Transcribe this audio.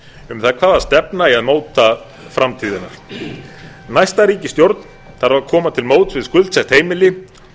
um það hvaða stefna eigi að móta framtíðina næsta ríkisstjórn þarf að koma til móts við skuldsett heimili